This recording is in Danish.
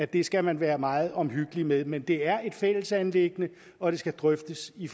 det skal man være meget omhyggelig med men det er et fællesanliggende og det skal drøftes i